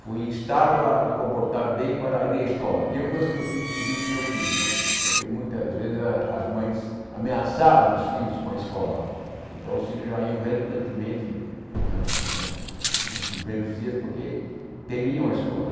fui instado a me comportar bem para ir à escola, eu coisa que eu fiz inclusive com o meu filho, porque muitas vezes ah as mães ameaçavam os filhos com a escola, então os filhos já iam relutantemente né nos primeiros dias porque temiam a escola.